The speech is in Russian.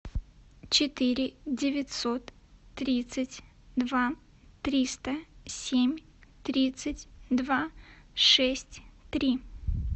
четыре девятьсот тридцать два триста семь тридцать два шесть три